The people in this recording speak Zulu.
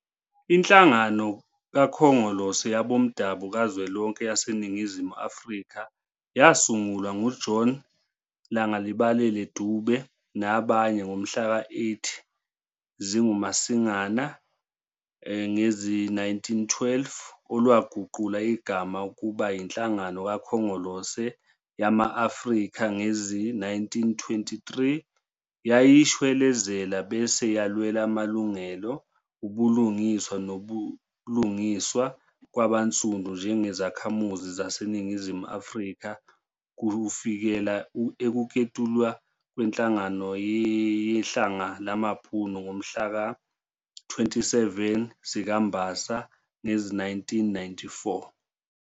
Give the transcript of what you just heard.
Inhlangano Khongolose Yabomdabo kaZwelonke YaseNingizimu Afrika yasungulwa ngu-John Langalibalele Dube nabanye ngomhlaka-8 zikaMasingana ngezi-1912, olwaguqula igama ukubayi-Nhlangano Khongolose Yama-Afrika ngezi-1923, yayishwelezela bese yalwela amalungelo, ubulinganiswa nobulungiswa kwabansundu njengezakhamuzi xaseNingizimu Afrika kufikela ukuketulwa kweNhlangano Yehlanga lamaBhunu ngomhlaka-27 zikaMbasa ngezi-1994.